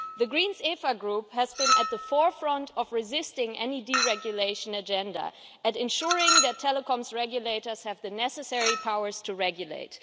The Verts ALE Group has been at the forefront of resisting any deregulation agenda and ensuring that telecom regulators have the necessary powers to regulate.